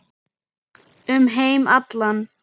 Um heim allan.